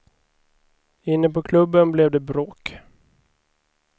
Inne på klubben blev det bråk.